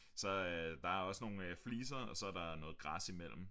Så øh der er også nogle fliser og så er der noget græs imellem